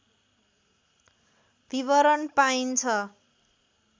विवरण पाइन्छ